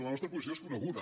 la nostra posició és coneguda